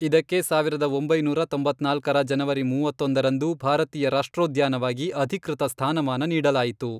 ಇದಕ್ಕೆ ಸಾವಿರದ ಒಂಬೈನೂರ ತೊಂಬತ್ನಾಲ್ಕರ ಜನವರಿ ಮೂವತ್ತೊಂದರಂದು ಭಾರತೀಯ ರಾಷ್ಟ್ರೋದ್ಯಾನವಾಗಿ ಅಧಿಕೃತ ಸ್ಥಾನಮಾನ ನೀಡಲಾಯಿತು.